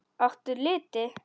Áttu liti?